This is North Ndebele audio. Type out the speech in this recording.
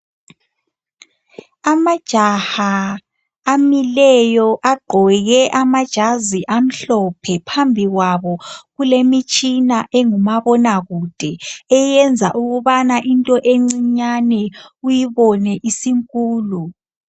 Amajaha amileyo agqoke amajazi amhlophe phambi kwabo kulemitshina engumabonakude eyenza ukubana into encinyane uyibone isinkulu.